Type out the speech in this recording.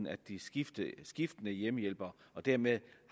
er skiftende skiftende hjemmehjælpere og dermed